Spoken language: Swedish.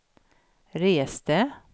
reste